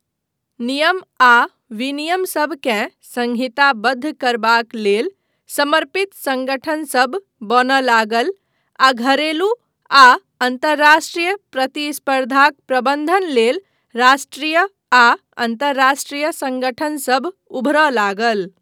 नियम आ विनियम सभकेँ संहिताबद्ध करबाक लेल समर्पित संगठनसभ बनय लागल आ घरेलू आ अन्तर्राष्ट्रीय प्रतिस्पर्धाक प्रबन्धन लेल राष्ट्रीय आ अन्तर्राष्ट्रीय संगठनसभ उभरय लागल।